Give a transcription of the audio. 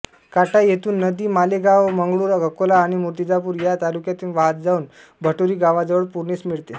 काटा येथून नदी मालेगावमंगरूळ अकोला आणि मूर्तिजापूर या तालुक्यांतून वाहत जाऊन भटोरी गावाजवळ पूर्णेस मिळते